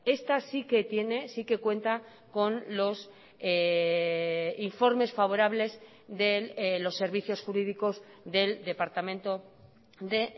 esta sí que tiene sí que cuenta con los informes favorables de los servicios jurídicos del departamento de